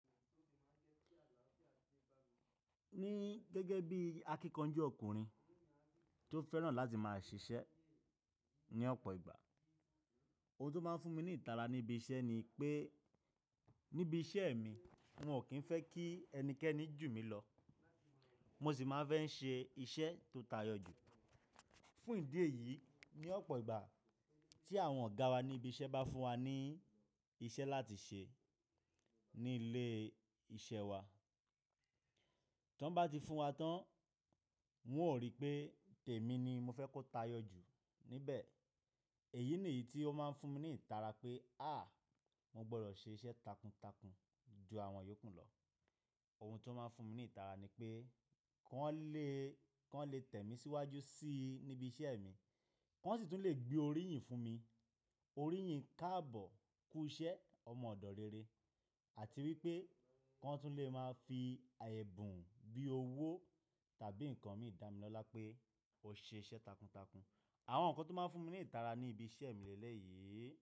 Ní gẹ́gẹ́ bí akíkanjú ọkùnrin tó fẹ́ràn láti máa ṣiṣẹ́ ní ọ̀pọ̀ ìgbà, ohun tó máa ń fún mi ní ìtara níbi iṣẹ́ ni pé níbi iṣẹ́ mi wọn ò kí ń fẹ́ kí ẹnikẹ́ni jù mí lọ. Mo sì máa ń fẹ́ ń ṣe iṣẹ́ tó tayọ jú. Fún ìdí èyí, ní ọ̀pọ̀ ìgbà tí àwọn ọ̀gá wa ní ibi iṣẹ́ bá fún wa ní iṣẹ́ láti ṣe ní ilé iṣẹ́ wa, tí wọ́n bá ti fún wa tán, wọn ó rí pé tèmi ni mo fẹ́ kó tayọ jú níbẹ̀. Èyí nìyí tí ó máa ń fún mi ní ìtara pé, a! Mo gbọ́dọ̀ ṣe iṣẹ́ takuntakun ju àwọn iyòókù lọ. Ohun tó máa ń fún mi ní ìtara ni pé kọ́ n lè, kọ́ n lè tẹ̀ mí síwájú sí i níbi iṣẹ́ mi, kọ́ sì tún lè gbé orí yìí fún mi. Orí yìí káàbọ̀ kù iṣẹ́ ọmọ ọ̀dọ̀ rere àti wípé kọ́ n tún lè máa fi àyẹ̀bùn bíi owó tàbí nǹkan mìí dá mi lọ́lá pé ó ṣe iṣẹ́ takuntakun. Àwọn nǹkan tó máa ń fún mi ní ìtara ní ibi iṣẹ́ mi lẹ́lẹ̀ yí.